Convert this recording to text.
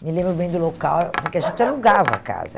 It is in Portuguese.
me lembro bem do local, porque a gente alugava a casa.